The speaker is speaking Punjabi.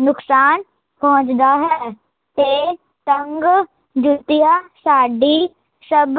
ਨੁਕਸਾਨ ਪਹੁੰਚਦਾ ਹੈ ਤੇ ਤੰਗ ਜੁੱਤੀਆ ਸਾਡੀ ਸਭ